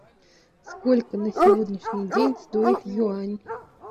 сколько на сегодняшний день стоит юань